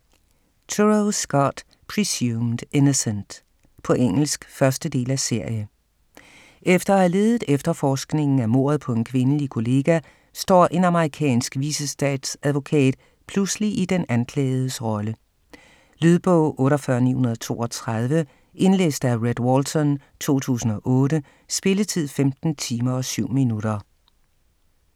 Turow, Scott: Presumed innocent På engelsk. 1. del af serie. Efter at have ledet efterforskningen af mordet på en kvindelig kollega, står en amerikansk vicestatsadvokat pludselig i den anklagedes rolle. Lydbog 48932 Indlæst af Rhett Walton, 2008. Spilletid: 15 timer, 7 minutter.